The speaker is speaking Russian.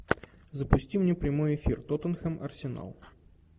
запусти мне прямой эфир тоттенхэм арсенал